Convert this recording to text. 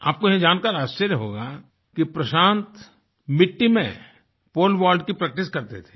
आपको यह जानकर आश्चर्य होगा कि प्रशांत मिट्टी में पोले वॉल्ट की प्रैक्टिस करते थे